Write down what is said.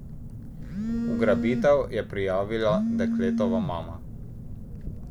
Ugrabitev je prijavila dekletova mama.